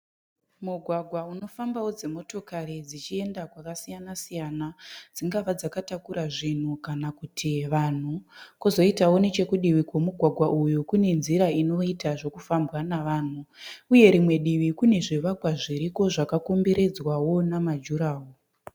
Mugwagwa unofambawo dzimotokari dzichienda kwakasiyana dzingave dzakatakura zvinhu kana kuti vanhu kwozoitawo nechekudivi kwemugwagwa uyu kune nzira inoita zvekufambwa navanhu. Uye rimwe divi kune zvivakwa zviriko zvakakomberedzwawo namajuraworo.